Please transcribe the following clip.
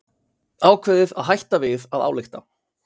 Ákveðið að hætta við að álykta